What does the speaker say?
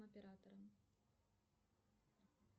оператором